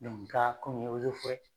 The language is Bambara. ka komi n ye ozeforɛ